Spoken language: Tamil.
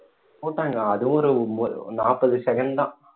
போட்டாங்க அதுவும் ஒரு ஒன்~ நாப்பது second தான்